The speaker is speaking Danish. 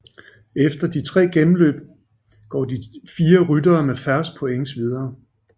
Efter de tre gennemløb går de fire ryttere med færrest points videre